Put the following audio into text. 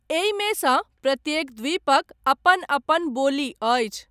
एहिमे सँ प्रत्येक द्वीपक अपन अपन बोली अछि।